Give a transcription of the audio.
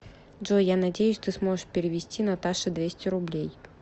джой я надеюсь ты сможешь перевести наташе двести рублей